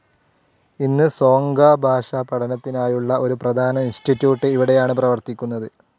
ഇന്ന് സോങ്ഘ ഭാഷാ പഠനത്തിനായുള്ള ഒരു പ്രധാന ഇൻസ്റ്റിറ്റ്യൂട്ട്‌ ഇവിടെയാണ് പ്രവർത്തിക്കുന്നത്.